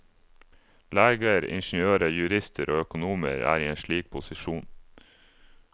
Leger, ingeniører, jurister og økonomer er i en slik posisjon.